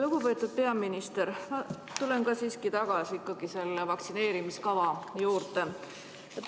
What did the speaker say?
Lugupeetud peaminister, ma tulen siiski tagasi selle vaktsineerimiskava juurde.